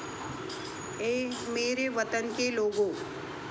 ऐ मेरे वतन के लोगों'